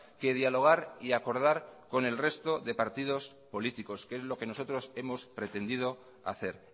que dialogar y acordar con el resto de partidos políticos que es lo que nosotros hemos pretendido hacer